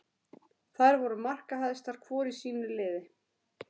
Þær voru markahæstar hvor í sínu liði.